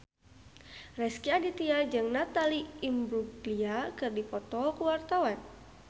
Rezky Aditya jeung Natalie Imbruglia keur dipoto ku wartawan